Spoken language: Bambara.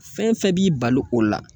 Fɛn fɛn b'i bali o la